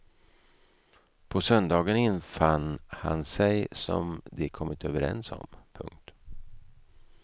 På söndagen infann han sig som de kommit överens om. punkt